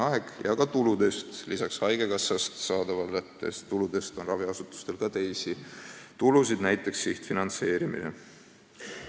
Raha selleks saab ka tuludest – lisaks haigekassast saadavale rahale on raviasutustel ka teisi tulusid, näiteks sihtfinantseeringud.